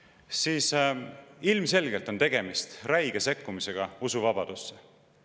… siis ilmselgelt on tegemist räige sekkumisega usuvabadusse.